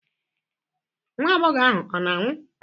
Nwa agbọghọ ahụ ọ na-anwụ?